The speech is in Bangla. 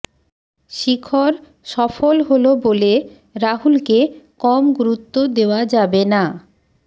শিখর সফল হল বলে রাহুলকে কম গুরুত্ব দেওয়া যাবে না